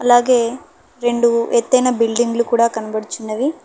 అలాగే రెండు ఎత్తిన బిల్డింగులు కూడా కనబడుచున్నవి.